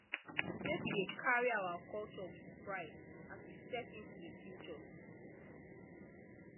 make we dey carry our culture with pride as we step into the future